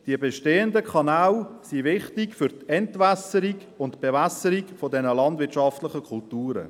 Die bestehenden Kanäle sind wichtig für die Entwässerung und Bewässerung dieser landwirtschaftlichen Kulturen.